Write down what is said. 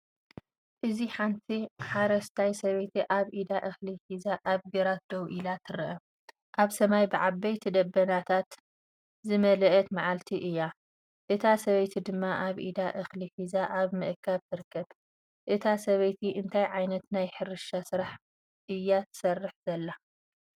እዚ ሓንቲ ሓረስታይ ሰበይቲ ኣብ ኢዳ እኽሊ ሒዛ ኣብ ግራት ደው ኢላ ትርአ። ኣብ ሰማይ ብዓበይቲ ደበናታት ዝመልአት መዓልቲ እያ፡እታ ሰበይቲድማ ኣብ ኢዳ እኽሊ ሒዛ ኣብ ምእካብ ትርከብ። እታ ሰበይቲ እንታይ ዓይነት ናይ ሕርሻ ስራሕ እያትሰርሕ ዘላ?